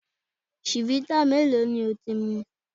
Chivita mélòó ni o ti mu?